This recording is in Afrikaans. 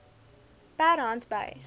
per hand by